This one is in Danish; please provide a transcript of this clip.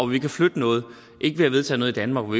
vi kan flytte noget ikke ved at vedtage noget i danmark